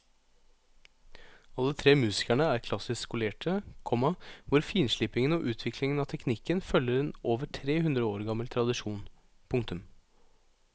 Alle tre musikerne er klassisk skolerte, komma hvor finslipingen og utviklingen av teknikken følger en over tre hundre år gammel tradisjon. punktum